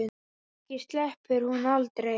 Kannski sleppur hún aldrei.